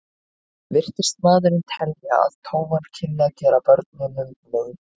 Virtist maðurinn telja að tófan kynni að gera börnunum mein.